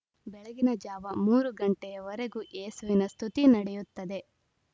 ಬೆಳಗಿನ ಜಾವ ಮೂರು ಗಂಟೆಯ ವರೆಗೂ ಏಸುವಿನ ಸ್ತುತಿ ನಡೆಯುತ್ತದೆ